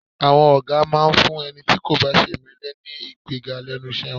À̀wọn ọ̀gá máa ń fún ẹni tí kò bá ṣe ìmẹ́lẹ́ ní ìgbéga lẹ́nu iṣẹ́ wọn